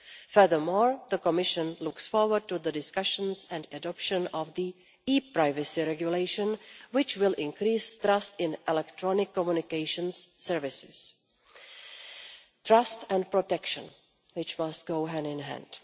Furthermore, the Commission looks forward to the discussions and adoption of the e privacy Regulation, which will increase trust in electronic communications services trust and protection, which must go hand in hand.